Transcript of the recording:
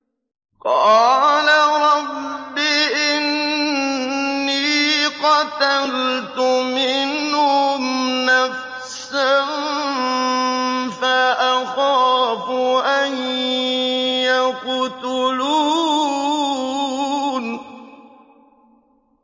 قَالَ رَبِّ إِنِّي قَتَلْتُ مِنْهُمْ نَفْسًا فَأَخَافُ أَن يَقْتُلُونِ